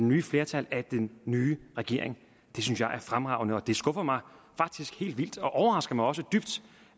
nye flertal af den nye regering det synes jeg er fremragende og det skuffer mig faktisk helt vildt og overrasker mig også dybt